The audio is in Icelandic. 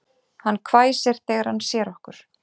Hann hvæsir þegar hann sér okkur